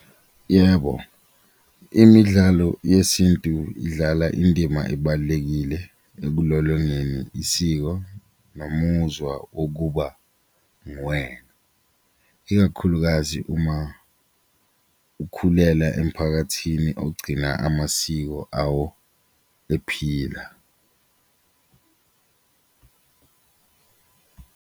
Yebo, imidlalo yesintu idlala indima ebalulekile ekulolongeni isiko nomuzwa wokuba nguwena, ikakhulukazi uma ukhulela emphakathini ogcina amasiko awo ephila.